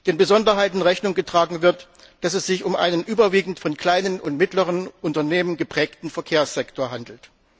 der Besonderheit Rechnung getragen wird, dass es sich um einen überwiegend von kleinen und mittleren Unternehmen geprägten Verkehrssektor handelt.